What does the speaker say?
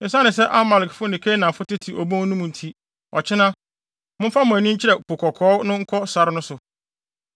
Esiane sɛ Amalekfo na Kanaanfo tete abon mu no nti, ɔkyena, momfa mo ani nkyerɛ Po Kɔkɔɔ no nkɔ sare no so.”